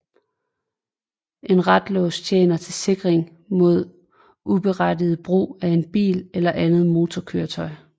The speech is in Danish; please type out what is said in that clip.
En ratlås tjener til sikring mod uberettiget brug af en bil eller andet motorkøretøj